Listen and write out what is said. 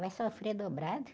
Vai sofrer dobrado.